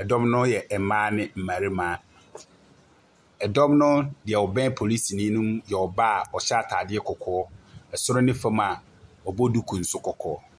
Ɛdɔm no yɛ ɛbaa ne ɔbarima. Ɛdɔn no nea ɔbɛn polisi no yɛ ɔbaa a ɔhyɛ ataade kɔkɔɔ soro ne fam a ɔbɔ duku nso kɔkɔɔ.